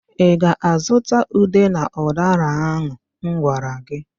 Ị ga-azụta ube na ụdara ahụ m gwara gị?